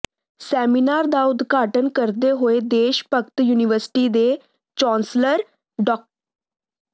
seminar ਦਾ ਉਦਘਾਟਨ ਕਰਦੇ ਹੋਏ ਦੇਸ਼ ਭਗਤ ਯੂਨੀਵਰਸਿਟੀ ਦੇ ਚਾਂਸਲਰ ਡਾ